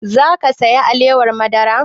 Za ka saya alewar madara?